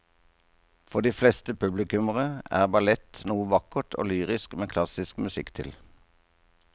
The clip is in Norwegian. For de fleste publikummere er ballett noe vakkert og lyrisk med klassisk musikk til.